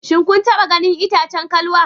Shin kun taba ganin itacen kalwa?